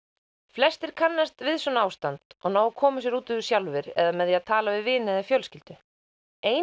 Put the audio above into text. flestir kannast við svona ástand og ná að koma sér út úr því sjálfir eða með því að tala við vini og fjölskyldu og ein